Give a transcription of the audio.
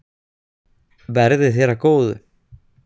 Verði þér að góðu.